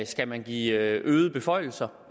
skal man give øgede beføjelser